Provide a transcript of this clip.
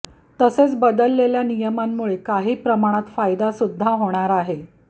तसेच बदललेल्या नियमांमुळे काही प्रमाणात फायदासुद्धा होणार आहे